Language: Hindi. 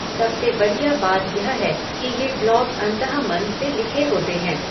सबसे बढ़िया बात यह है कि ये ब्लॉग अंतःमन से लिखे होते हैं।